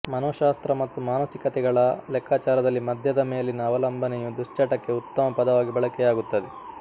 ಮನೋಶಾಸ್ತ್ರ ಮತ್ತು ಮಾನಸಿಕತೆಗಳ ಲೆಕ್ಕಾಚಾರದಲ್ಲಿ ಮದ್ಯದ ಮೇಲಿನ ಅವಲಂಬನೆ ಯು ದುಶ್ಚಟಕ್ಕೆ ಉತ್ತಮ ಪದವಾಗಿ ಬಳಕೆಯಾಗುತ್ತದೆ